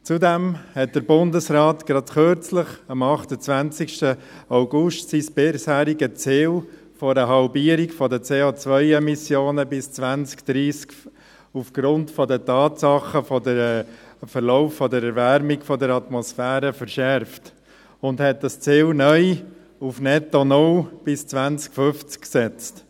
Zudem hat der Bundesrat kürzlich, am 28. August, sein bisheriges Ziel einer Halbierung der COEmissionen bis 2030 aufgrund der Tatsachen der Erwärmung der Erdatmosphäre verschärft und hat das Ziel, auf netto null bis 2050, neu gesetzt.